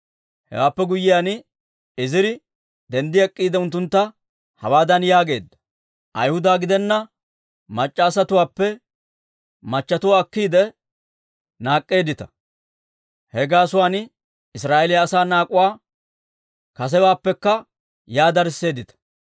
Hewaappe guyiyaan Iziri denddi ek'k'iide, unttuntta hawaadan yaageedda; «Ayhuda gidenna mac'c'a asatuwaappe machchetuwaa akkiide naak'k'eeddita; he gaasuwaan Israa'eeliyaa asaa naak'uwaa kasewaappekka yaa darisseeddita.